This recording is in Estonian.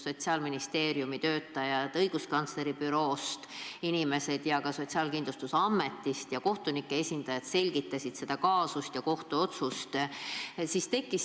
Sotsiaalministeeriumi töötajad, õiguskantsleri büroo inimesed ja ka Sotsiaalkindlustusameti ja kohtunike esindajad selgitasid seda kaasust ja kohtuotsust.